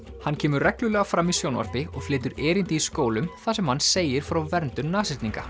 hann kemur reglulega fram í sjónvarpi og flytur erindi í skólum þar sem hann segir frá verndun